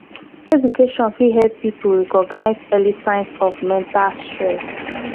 education fit help pipo recognize early signs of mental stress